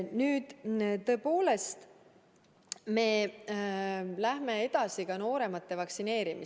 Nüüd, tõepoolest, me läheme edasi nooremate vaktsineerimisega.